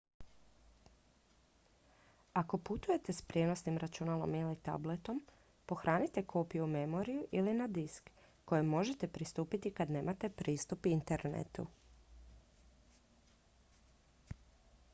ako putujete s prijenosnim računalom ili tabletom pohranite kopiju u memoriju ili na disk kojem možete pristupiti i kad nemate pristup internetu